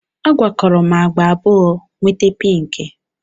A gwakọrọ m agba abụọ, nweta pinki